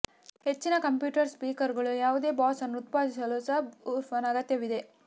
ಹೆಚ್ಚಿನ ಕಂಪ್ಯೂಟರ್ ಸ್ಪೀಕರ್ಗಳು ಯಾವುದೇ ಬಾಸ್ ಅನ್ನು ಉತ್ಪಾದಿಸಲು ಸಬ್ ವೂಫರ್ನ ಅಗತ್ಯವಿದೆ